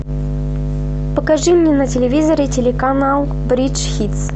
покажи мне на телевизоре телеканал бридж хитс